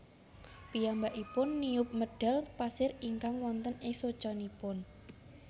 Piyambakipun niup medhal pasir ingkang wonten ing socanipun